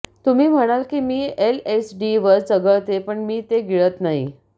तुम्ही म्हणाल की मी एलएसडीवर चघळते पण मी ते गिळत नाही